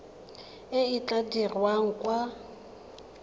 e e tla dirwang kwa